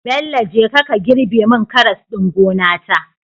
Bello jeka ka girbe mun karas ɗin gona ta